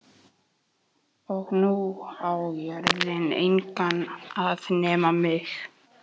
Og nú á jörðin engan að nema mig.